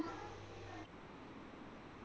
ਤੇ ਉਹਨਾਂ ਦੀਆਂ